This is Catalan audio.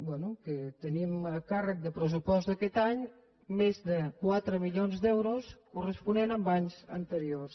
bé tenim a càrrec del pressupost d’aquest any més de quatre milions d’euros corresponents a anys anteriors